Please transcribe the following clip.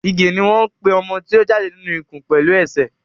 ìgè ní wón pè ọmọ tí o jáde nínú ikùn pẹlú esè.